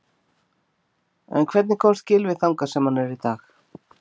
En hvernig komst Gylfi þangað sem hann er dag?